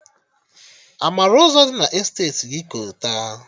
A mara Ụzọ dị na Esteti gị kolta?